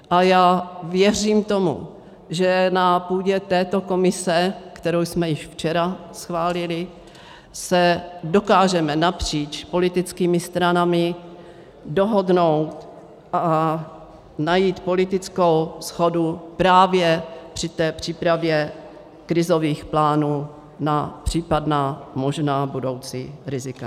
A já věřím tomu, že na půdě této komise, kterou jsme již včera schválili, se dokážeme napříč politickými stranami dohodnout a najít politickou shodu právě při té přípravě krizových plánů na případná možná budoucí rizika.